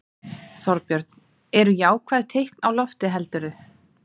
Þorbjörn: Eru jákvæð teikn á lofti heldurðu?